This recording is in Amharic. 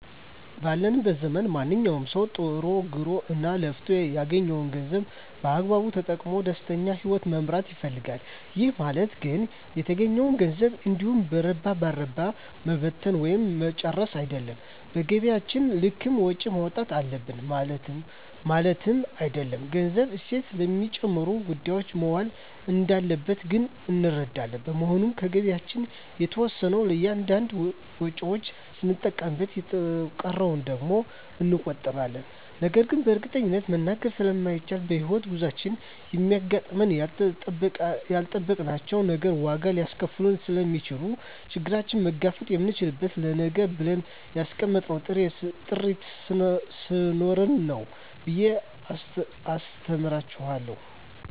ባለንበት ዘመን ማንኛዉም ሰዉ ጥሮ ግሮእና ለፍቶ ያገኘዉን ገንዘብ በአግባቡ ተጠቅሞ ደስተኛ ህይወትን መምራት ይፈልጋል ይህ ማለት ግን የተገኘዉን ገንዘብ እንዲሁ በረባ ባረባዉ መበተን ወይም መርጨት አይደለም በገቢያችን ልክም ወጪ ማዉጣት አለብን ማለትም አይደለም ገንዘቡ እሴት ለሚጨምሩ ጉዳዮች መዋል እንዳለበት ግን እንረዳለን በመሆኑም ከገቢያችን የተወሰነዉን ለእያንዳንድ ወጪዎች ስንጠቀምበት የተቀረዉን ደግሞ እንቆጥበዋለን ነገን በእርግጠኝነት መናገር ስለማይቻልም በሕይወት ጉዟችን የሚያጋጥሙን ያልጠበቅናቸዉ ነገሮች ዋጋ ሊያስከፍሉን ስለሚችሉ ችግሩን መጋፈጥ የምንችለዉ ለነገ ብለን ያስቀመጥነዉ ጥሪት ስኖረን ነዉ ብየ አስተምራቸዋለሁ